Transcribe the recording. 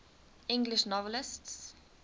english novelists